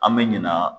An bɛ ɲina